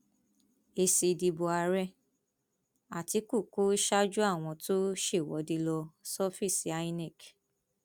èsì ìdìbò ààrẹ àtikukú ṣáájú àwọn tó ṣèwọde lọ sọfíìsì inec